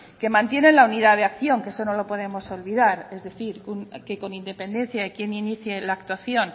que mantienen la unidad de acción que eso no lo podemos olvidar es decir que con independencia de quién inicie la actuación